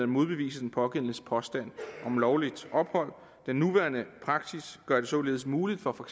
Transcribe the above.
modbevise den pågældendes påstand om lovligt ophold den nuværende praksis gør det således muligt for for